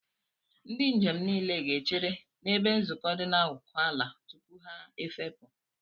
Ndị njem niile ga-echere n'ebe nzukọ dị n'akụkụ ala tupu ha efepụ.